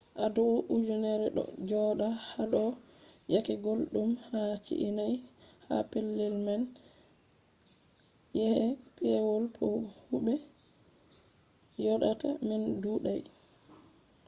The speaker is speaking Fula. huwoɓe ɗuɗɗum yottan adau ujunerre ɗo joɗa haɗɗo yake gulɗum ha chi’e nai ha pellel man yake pewol bo huwoɓe joɗata man ɗuuɗai